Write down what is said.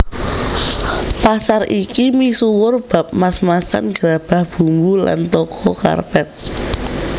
Pasar iki misuwur bab mas masan grabah bumbu lan toko karpet